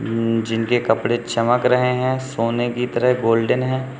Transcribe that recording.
अम जिनके कपड़े चमक रहे हैं सोने की तरह गोल्डन हैं।